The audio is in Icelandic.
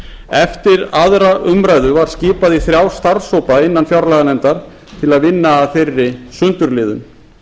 eftir aðra umræðu var skipað í þrjá starfshópa innan fjárlaganefndar til að vinna að þeirri sundurliðun